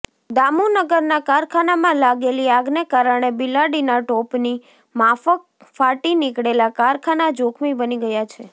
દામુનગરના કારખાનામાં લાગેલી આગને કારણે બિલાડીના ટોપની માફક ફાટી નીકળેલાં કારખાનાં જોખમી બની ગયાં છે